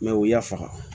u y'a faga